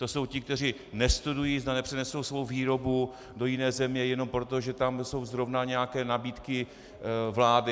To jsou ti, kteří nestudují, zda nepřenesou svou výrobu do jiné země jenom proto, že tam jsou zrovna nějaké nabídky vlády.